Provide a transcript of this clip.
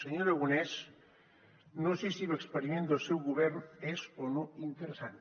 senyor aragonès no sé si l’experiment del seu govern és o no interessant